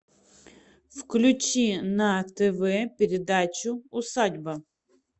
включи на тв передачу усадьба